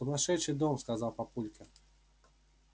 сумасшедший дом сказал папулька